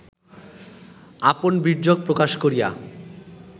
আপন বীর্যক প্রকাশ করিয়া